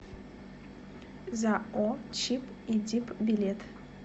зао чип и дип билет